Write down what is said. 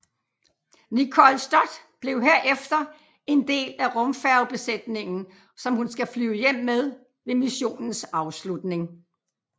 Nicole Stott blev herefter en del af rumfærgebesætningen som hun skal flyve hjem med ved missionens afslutning